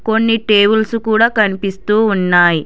కొన్ని టేబుల్స్ కూడా కనిపిస్తూ ఉన్నాయి.